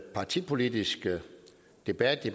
partipolitiske debat